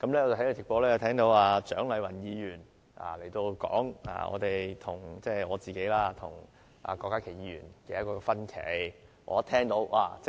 我在直播中聽到蔣麗芸議員說我個人和郭家麒議員有分歧。